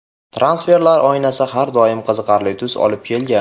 Transferlar oynasi har doim qiziqarli tus olib kelgan.